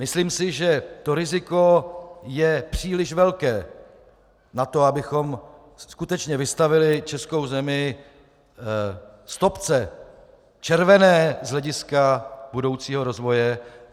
Myslím si, že to riziko je příliš velké na to, abychom skutečně vystavili českou zemi stopce - červené z hlediska budoucího rozvoje.